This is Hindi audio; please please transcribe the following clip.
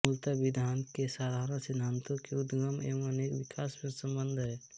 मूलत विधान के साधारण सिद्धांतों के उद्गम एवं उनके विकास से संबद्ध है